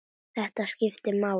Þetta skiptir máli.